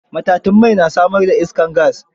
Matatun mai na samar da iskar gas.